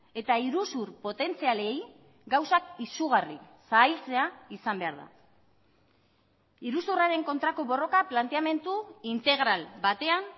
eta iruzur potentzialei gauzak izugarri zailtzea izan behar da iruzurraren kontrako borroka planteamendu integral batean